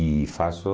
E faço...